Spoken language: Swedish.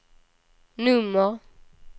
nummer